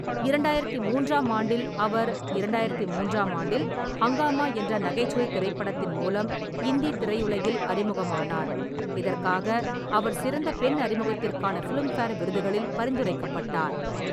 இரண்டாயிரத்து மூன்றாம் ஆண்டில், அவர் இரண்டாயிரத்து மூன்றாம் ஆண்டில் ஹங்காமா என்ற நகைச்சுவை திரைப்படத்தின் மூலம் இந்தி திரையுலகில் அறிமுகமானார், இதற்காக அவர் சிறந்த பெண் அறிமுகத்திற்கான ஃபிலிம்ஃபேர் விருதுகளில் பரிந்துரைக்கப்பட்டார்.